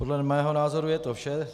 Podle mého názoru je to vše.